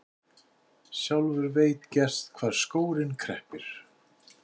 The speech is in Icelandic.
Sjálfur veit gerst hvar skórinn kreppir.